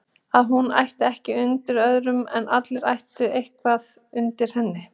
Að hún ætti ekkert undir öðrum en allir ættu eitthvað undir henni.